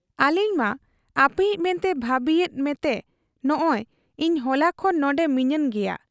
ᱟᱞᱤᱧ ᱢᱟ ᱟᱯᱮᱭᱤᱡ ᱢᱮᱱᱛᱮ ᱵᱷᱟᱹᱵᱤᱭᱮᱫ ᱢᱮᱛᱮ ᱱᱚᱸᱜᱻᱚᱭ ᱤᱧ ᱦᱚᱞᱟ ᱠᱷᱚᱱ ᱱᱚᱱᱰᱮ ᱢᱤᱱᱟᱹᱧ ᱜᱮᱭᱟ ᱾